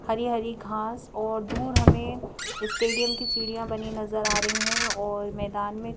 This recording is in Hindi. हरी हरी घास और दूर हमें स्टेडियम की सीढ़ियां बनी नजर आ रही हैं और मैदान में--